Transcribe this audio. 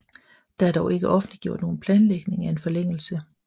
Der er dog ikke offenliggjort nogen planlægning af en forlængelse